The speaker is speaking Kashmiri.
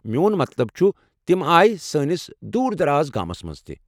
میون مطلب چھُ، تم آیہ سٲنس دوٗر دراز گامس منٛز تہِ ۔